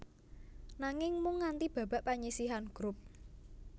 Nanging mung nganti babak panyisihan grup